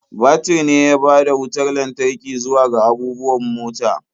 Batir ne ya bada wutar lantarki zuwa ga abubuwan mota.